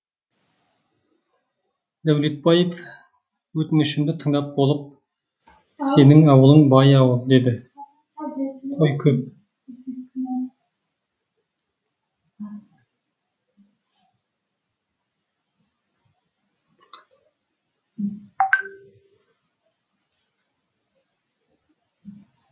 дәулетбаев өтінішімді тыңдап болып сенің ауылың бай ауыл деді қой көп